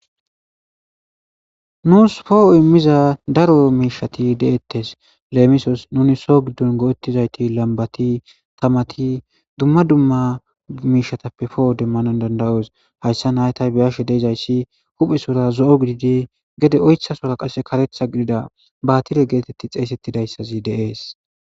Nuus foho immiza daroro miishati deettes leemisos nuni soo giddon goo7ettizayti lambati tamati dumma dumma miishatappe foho demmanon dandayoos hayssa naytay beyashe deezayssi huphe sora zo7o gididi gede oytha sora qase karetha gidida baatile geetetti xeesettidayssazi de7ees.